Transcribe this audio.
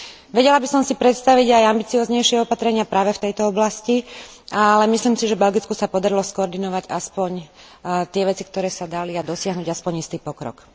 Vedela by som si predstaviť aj ambicióznejšie opatrenia práve v tejto oblasti, ale myslím si, že Belgicku sa podarilo skoordinovať aspoň tie veci, ktoré sa dali, a dosiahnuť aspoň istý pokrok.